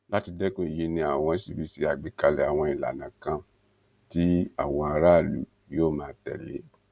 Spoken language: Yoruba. láti dẹkun èyí ni àwọn ṣì fi ṣe àgbékalẹ àwọn ìlànà kan tí àwọn aráàlú yóò máa tẹlé